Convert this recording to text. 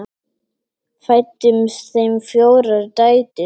Fæddust þeim fjórar dætur.